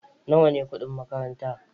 Nawa ne kudin makaranta?